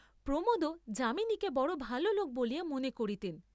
প্রমোদও যামিনীকে বড় ভাল লোক বলিয়া মনে করিতেন।